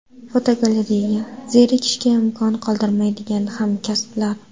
Fotogalereya: Zerikishga imkon qoldirmaydigan hamkasblar.